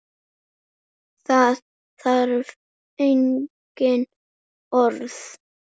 Það þarf engin orð.